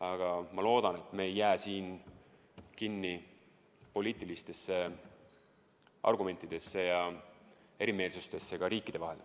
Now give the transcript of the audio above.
ja ma loodan, et me ei jää siin kinni poliitilistesse argumentidesse ja erimeelsustesse riikide vahel.